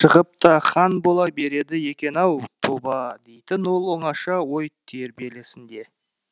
шығып та хан бола береді екен ау тоба дейтін ол оңаша ой тербелісінде